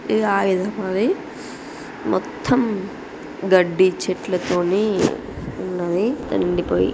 ఇది ఆయుధ బావి మొత్తమ్ గడ్డి చెట్లతోని ఉన్నవి నిండిపోయి .